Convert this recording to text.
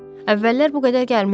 Əvvəllər bu qədər gəlməzdi.